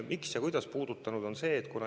Miks ja kuidas ta on puudutanud?